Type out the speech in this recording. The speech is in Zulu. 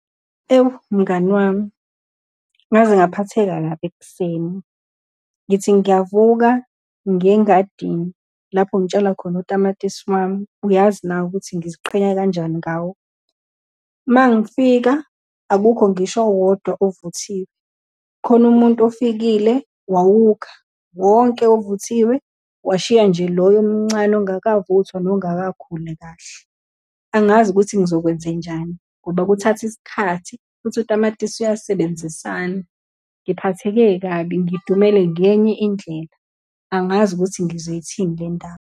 Ewu, mngani wami, ngaze ngaphatheka kabi ekuseni, ngithi ngiyavuka ngiye engadini lapho ngitshala khona otamatisi wami, uyazi nawe ukuthi ngiziqhenya kanjani ngawo. Uma ngifika akukho ngisho owodwa ovuthiwe. Khona umuntu ofikile wawukha wonke ovuthiwe, washiya nje loyo omncane ongakavuthwa nongakakhuli kahle. Angazi ukuthi ngizokwenzenjani ngoba kuthatha isikhathi, futhi utamatisi uyasebenzisana. Ngiphatheke kabi, ngidumele ngenye indlela, angazi ukuthi ngizoyithini le ndaba.